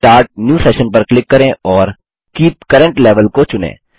start new session पर click करें और कीप करेंट लेवेल को चुनें